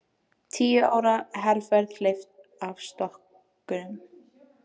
Tíu ára herferð hleypt af stokkunum